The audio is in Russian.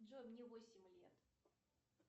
джой мне восемь лет